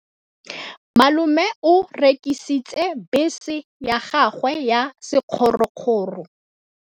Malome o rekisitse bese ya gagwe ya sekgorokgoro.